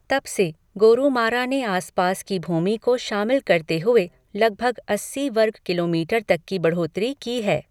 तब से, गोरूमारा ने आस पास की भूमि को शामिल करते हुए लगभग अस्सी वर्ग किलोमीटर तक की बढ़ोतरी की है।